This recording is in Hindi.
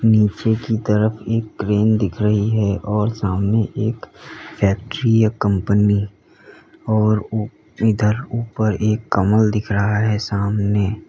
नीचे की तरफ एक क्रेन दिख रही है और सामने एक फैक्ट्री या कंपनी और इधर ऊपर एक कमल दिख रहा है सामने--